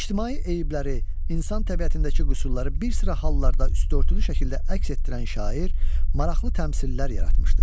İctimai eyibləri, insan təbiətindəki qüsurları bir sıra hallarda üstüörtülü şəkildə əks etdirən şair maraqlı təmsillər yaratmışdır.